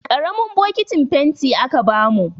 Ƙaramin bokitin fenti aka bamu.